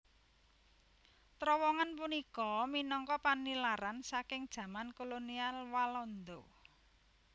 Trowongan punika minangka panilaran saking jaman kolonial Walanda